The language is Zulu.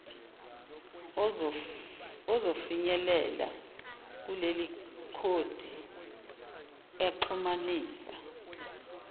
ozofinyelela kulekhodi exhumanisa